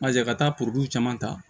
Mazi ka taa caman ta